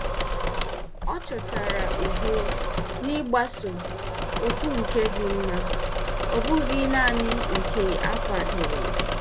Ọ chọtara udo n'ịgbaso oku nke dị mma, ọ bụghị naanị nke a kwadoro.